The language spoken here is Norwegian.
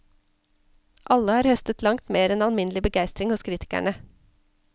Alle har høstet langt mer enn alminnelig begeistring hos kritikerne.